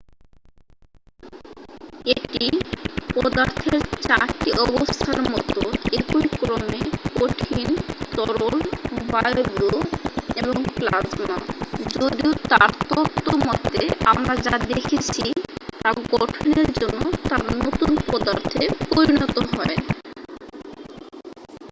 এটি পদার্থের চারটি অবস্থার মতো একই ক্রমে: কঠিন তরল বায়বীয় এবং প্লাজমা যদিও তার তত্ত্ব মতে আমরা যা দেখছি তা গঠনের জন্য তারা নতুন পদার্থে পরিনত হয়।